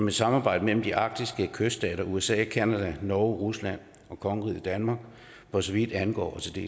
et samarbejde mellem de arktiske kyststater usa canada norge rusland og kongeriget danmark for så vidt angår